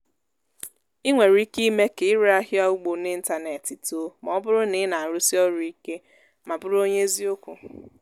ị nwere ike ime ka ire ahịa ugbo n'ịntanetị too ma ọ bụrụ na ị na-arụsi ọrụ ike ma bụrụ onye eziokwu.